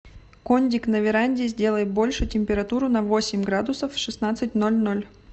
кондик на веранде сделай больше температуру на восемь градусов в шестнадцать ноль ноль